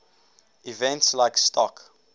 events like stock